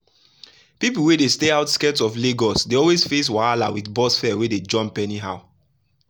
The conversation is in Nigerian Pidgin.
people wey dey stay outskirts of lagos dey always face wahala with bus fare wey dey jump anyhow.